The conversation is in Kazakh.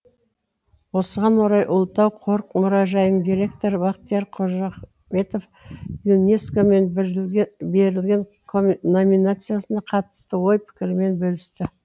осыған орай ұлытау қорық мұражайының директоры бақтияр қожахметов юнеско мен берілген номинациясына қатысты ой пікірімен бөлісті